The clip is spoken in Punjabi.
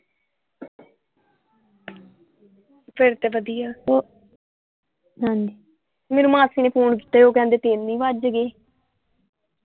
ਫੇਰ ਤੇ ਵਧੀਆ ਓਹ ਮੈਨੂੰ ਮਾਸੀ ਨੇ ਫ਼ੋਨ ਕੀਤਾ ਸੀ ਓਹ ਕਹਿਦੇ ਤਿੰਨ ਹੀ ਵੱਜ ਗਏ ।